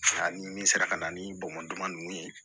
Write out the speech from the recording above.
Ani min sera ka na ni bamakɔ dama ninnu ye